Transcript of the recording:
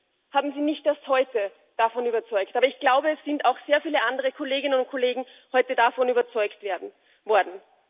Mich haben Sie nicht erst heute davon überzeugt. Aber ich glaube, es sind auch sehr viele andere Kolleginnen und Kollegen heute davon überzeugt worden.